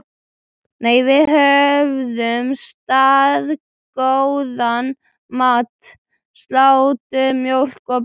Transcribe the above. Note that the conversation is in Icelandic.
Nei, við höfðum staðgóðan mat: Slátur, mjólk og brauð.